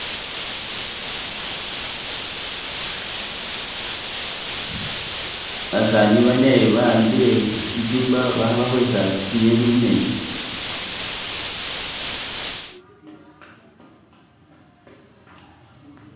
Basaani banne bawambire shitimba bali khe bakwesa zinyeni mumenzi.